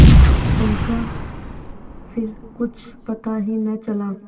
उनका फिर कुछ पता ही न चला